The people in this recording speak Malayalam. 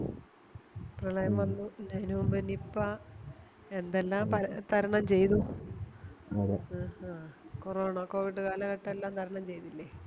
പ്രളയം വന്നു അതിനുമുമ്പേ നിപ്പ എന്തെല്ലാം പല തരണം ചെയ്തു കോറോണ ആ Covid കാലഘട്ടെല്ലാം തരണം ചെയ്തില്ലേ